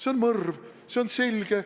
See on mõrv, see on selge.